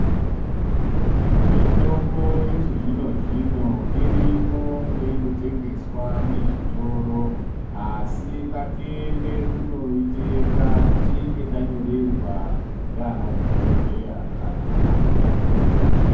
Mitombo yechi zvino zvino irimo mweino tengeswa mizvitoro asi ngatienda kuno itenga tichinge tanyorerwa ngana dhokoteya kana ana mukoti.